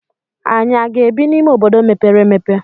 Ànyị aga-ebi n'ime obodo mepere emepe?